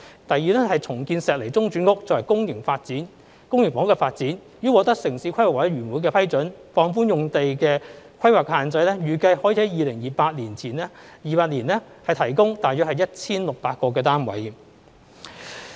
第二是重建石籬中轉屋，作為公營房屋的發展，已獲得城市規劃委員會的批准，放寬用地規劃的限制，預計可於2028年提供大約 1,600 個單位。